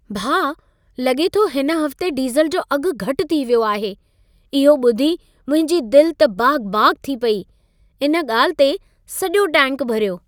भाउ, लॻे थो हिन हफ़्ते डिज़ल जो अघु घटि थी वियो आहे। इहो ॿुधी मुंहिंजी दिल त बाग़-बाग़ थी पई। इन ॻाल्हि ते सॼो टैंक भरियो।